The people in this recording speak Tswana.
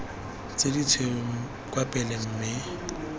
tse ditshweu kwa pele mme